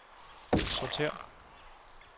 sortér